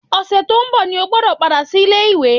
Ọ̀sẹ̀ tó ń bọ̀ ni o gbọ́dọ̀ padà sílé ìwé!